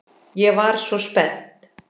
Ég var svo spennt.